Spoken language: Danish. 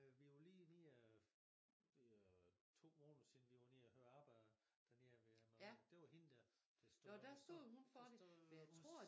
Øh vi var lige nede og det var to måneder siden vi var nede og høre Abba dernede ved mejeriet det var hende der der stod der stod hun